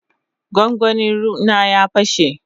gwangwani ruea na ya pashe.